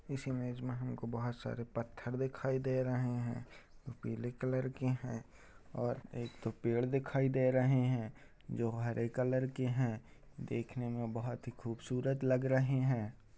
इस इमेज में हमको बहोत सारे पत्थर दिखाई दे रहे हैं । पीले कलर के हैं और एक तो पेड़ दिखाई दे रहे हैं जो हरे कलर के हैं देखने में बहोत ही खूबसूरत लग रहे हैं ।